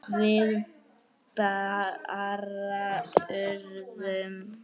Við bara urðum.